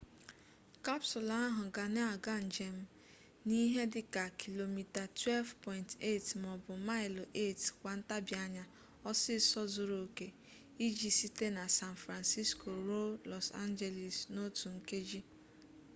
kapsụlụ ahụ ga na-aga njem n'ihe dịka km 12.8 maọbụ maịlụ 8 kwa ntabianya ọsịịsọ zuru oke iji site na san francisco ruo los angeles n'otu nkeji